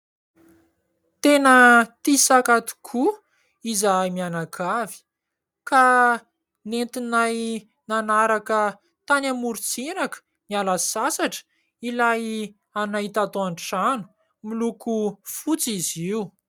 Tena tia saka tokoa izahay mianakavy, ka nentinay nanaraka tany amoron-tsiraka, niala sasatra, ilay anay tato an-trano. Miloko fotsy izy io.